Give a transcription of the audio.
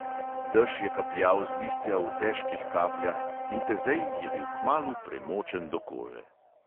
Dež je kapljal z listja v težkih kapljah, in tezej je bil kmalu premočen do kože.